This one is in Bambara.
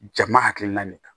Jama hakilina de kan